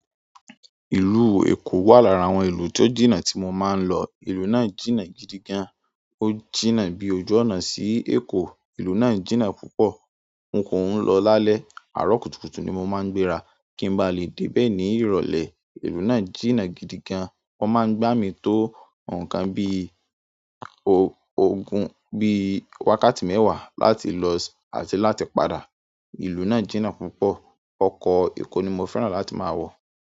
Ìlú Èkó wà lára àwọn ìlú tó jìnnà tí mo máa ń lọ. Ìlú náà jìnnà gidi gan. Ó jìnnà bí ojú ọ̀nà sí Èkó. Ìlú náà jìnnà púpọ̀. N kò ń lọ lálẹ́. Àárọ̀ kùtùkùtù ni mo máa ń gbéra. Kí ń ba lè dé bẹ̀ ní ìrọ̀lẹ́. Ìlú náà jìnnà gidi gan. Wọ́n máa ń gbá mi tó nǹkan bí i ògùn bí i wákàtí mẹ́wàá láti lọ àti láti padà. Ìlú náà jìnnà púpọ̀. Ọkọ̀ Èkó ni mo fẹ́ràn láti máa wọ̀.